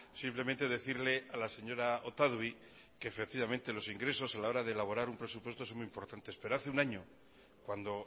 simplemente decirle a la señora otadui que efectivamente los ingresos a la hora de elaborar un presupuesto son muy importantes pero hace un año cuando